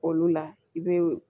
Olu la i be